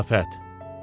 Ziyafət.